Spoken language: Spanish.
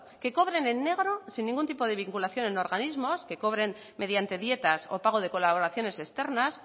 que cobren en negro sin ningún tipo de vinculación en organismos que cobren mediante dietas o pago de colaboraciones externas